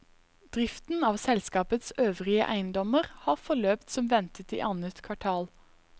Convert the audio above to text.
Driften av selskapets øvrige eiendommer har forløpt som ventet i annet kvartal.